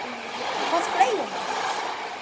Hvað fleira?